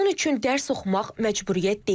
Onun üçün dərs oxumaq məcburiyyət deyil.